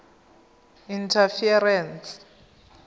interference